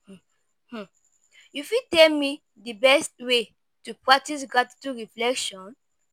um you fit tell me di best way to practice gratitude reflection?